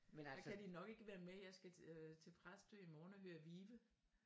Men kan de nok ikke være med jeg skal øh til Præstø i morgen og høre Vive